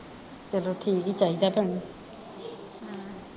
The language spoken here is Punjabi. ਚਲੋ ਠੀਕ ਈ ਚਾਹੀਦਾ ਭੈਣੇ ਹਮ